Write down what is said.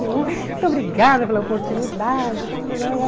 Muito obrigada pela oportunidade.